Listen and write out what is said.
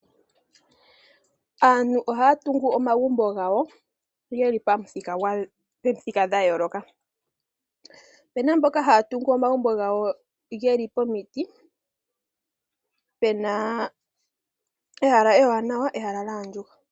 Aantu ohaya tungu omagumbo gawo geli pamuthika dhayooloka. Opena mboka haya tungu omagumbo gawo pomiti pena ehala ewanawa nolyaandjuka.